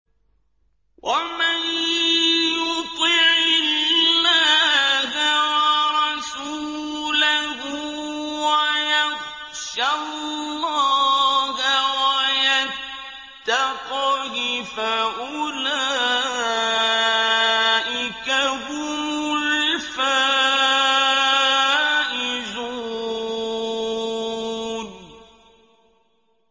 وَمَن يُطِعِ اللَّهَ وَرَسُولَهُ وَيَخْشَ اللَّهَ وَيَتَّقْهِ فَأُولَٰئِكَ هُمُ الْفَائِزُونَ